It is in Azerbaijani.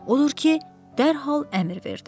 Odur ki, dərhal əmr verdi.